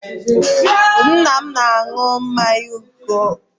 Nna m na-aṅụbiga mmanya oke